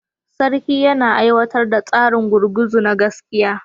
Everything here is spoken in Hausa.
Sarki yana aiwatar da tsarin gurguzu na gaskiya